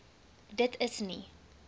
dit is nie